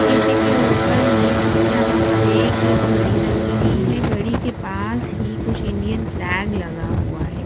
शीशे के ऊपर ही यहां पर एक घड़ी लगी हुई है घड़ी के पास ही कुछ इंडियन फ्लैग लगा हुआ है।